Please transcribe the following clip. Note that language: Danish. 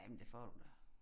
Ja men det får du da